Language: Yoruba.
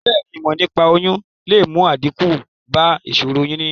Bèéni, ìmò nípaa oyún le mu àdíkù ba ìsòro oyún níní